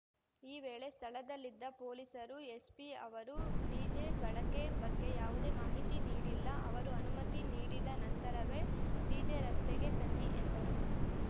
ಈ ವೇಳೆ ಸ್ಥಳದಲ್ಲಿದ್ದ ಪೊಲೀಸರು ಎಸ್ಪಿ ಅವರು ಡಿಜೆ ಬಳಕೆ ಬಗ್ಗೆ ಯಾವುದೇ ಮಾಹಿತಿ ನೀಡಿಲ್ಲ ಅವರು ಅನುಮತಿ ನೀಡಿದ ನಂತರವೇ ಡಿಜೆ ರಸ್ತೆಗೆ ತನ್ನಿ ಎಂದರು